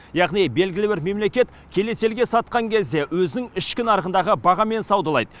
яғни белгілі бір мемлекет келесі елге сатқан кезде өзінің ішкі нарығындағы бағамен саудалайды